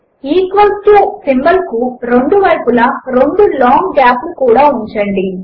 equal to symbol కు రెండు వైపులా రెండు లాంగ్ గాప్ లు కూడా ఉంచండి